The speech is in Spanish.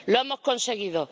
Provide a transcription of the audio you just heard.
Lo hemos conseguido.